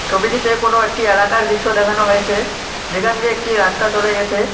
ছবিটিতে কোনো একটি এলাকার দৃশ্য দেখানো হয়েছে যেখান দিয়ে একটি রাস্তা চলে গেছে।